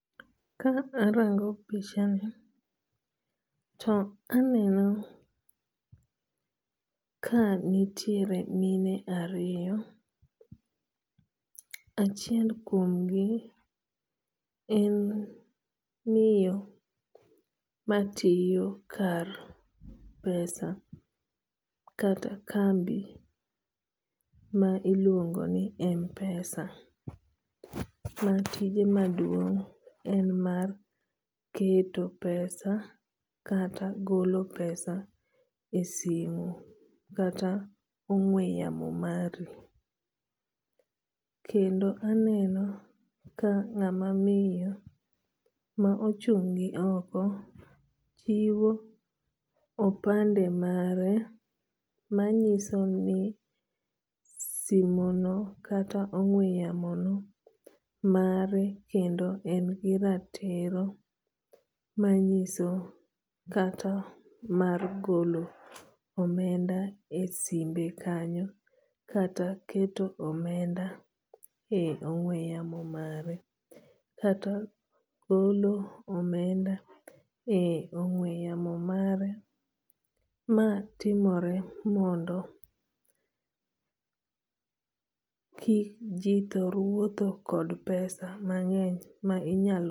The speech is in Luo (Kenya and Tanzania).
Ka arango pichani to aneno ka nitiere mine ariyo. Achiel kuom gi en miyo matiyo kar pesa kata kambi ma iluongo ni MPesa ma tije maduong' en mar keto pesa kata golo pesa e simo kata ong'we yamo mari. Kendo aneno ka ng'ama miyo ma ochung' gi oko chiwo opande mare manyiso ni simono kata ong'we yamo no mare kendo en gi ratiro manyiso kata mar golo omenda e simbe kanyo kata keto omenda e ong'we yamo mare kata golo omenda e ong'we yamo mare. Ma timore mondo ki ji thor wuotho kod pesa mang'eny ma inyal